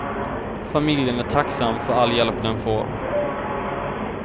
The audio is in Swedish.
Familjen är tacksam för all hjälp den får.